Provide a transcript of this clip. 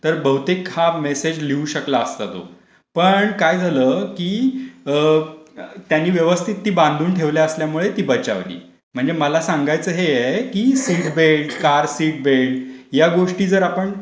तर बहुतेक हा मेसेज लिहू शकला असता तो. पण काय झालं? त्यांनी व्यवस्थित ती बांधून ठेवल्यामुळे ती बचावली. म्हणजे मला सांगायच हे आहे की seat belt, car seat belt, या गोष्टी जर आपण